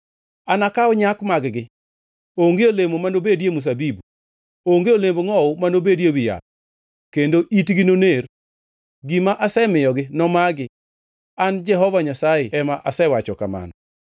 “ ‘Anakaw nyak mag-gi. Onge olemo manobedi e mzabibu. Onge olemb ngʼowu manobedi ewi yath, kendo itgi noner. Gima asemiyogi nomagi.’ ” An Jehova Nyasaye ema asewacho kamano.